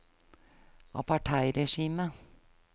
apartheidregimet